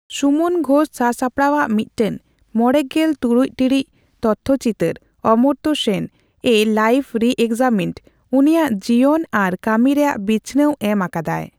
ᱥᱩᱢᱚᱱ ᱜᱷᱳᱥ ᱥᱟᱥᱟᱯᱲᱟᱣᱟᱜ ᱢᱤᱫᱴᱮᱱ ᱢᱚᱲᱮᱜᱮᱞ ᱛᱩᱨᱩᱭ ᱴᱤᱲᱤᱡ ᱛᱚᱛᱛᱷᱚᱪᱤᱛᱟᱹᱨ ᱼ 'ᱚᱢᱚᱨᱛᱚ ᱥᱮᱱ ᱺ ᱮ ᱞᱟᱭᱯᱷ ᱨᱤᱼᱮᱠᱥᱟᱢᱤᱱᱰ', ᱩᱱᱤᱭᱟᱜ ᱡᱤᱭᱟᱹᱱ ᱟᱨ ᱠᱟᱹᱢᱤ ᱨᱮᱭᱟᱜ ᱵᱤᱪᱷᱱᱟᱹᱣ ᱮᱢ ᱟᱠᱟᱫᱟᱭ᱾